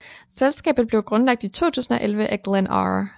Selskabet blev grundlagt i 2011 af Glenn R